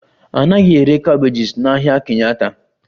A naghị ere cabbages n'ahịa Kenyatta